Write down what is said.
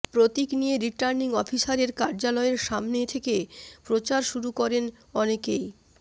প্রতীক নিয়ে রিটার্নিং অফিসারের কার্যালয়ের সামনে থেকে প্রচার শুরু করেন অনেকেই